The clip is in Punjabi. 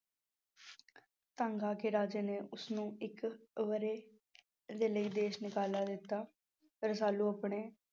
ਤੰਗ ਆ ਕੇ ਰਾਜੇ ਨੇ ਉਸਨੂੰ ਇੱਕ ਵਰ੍ਹੇ ਦੇ ਲਈ ਦੇਸ ਨਿਕਾਲਾ ਦਿੱਤਾ, ਰਸਾਲੂ ਆਪਣੇ